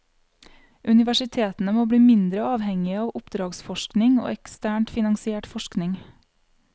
Universitetene må bli mindre avhengige av oppdragsforskning og eksternt finansiert forskning.